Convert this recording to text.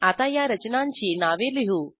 आता या रचनांची नावे लिहू